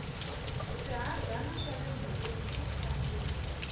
swihadyana swa le nhoveni swa kariha